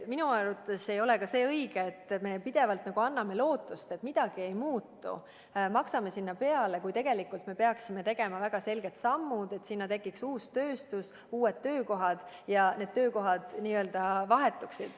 Minu arvates ei ole ka see õige, kui me pidevalt anname lootust, et midagi ei muutu, ja maksame sinna peale, kuigi tegelikult me peaksime tegema väga selgeid samme, et sinna tekiks uus tööstus ja uued töökohad ning et inimeste töökohad vahetuksid.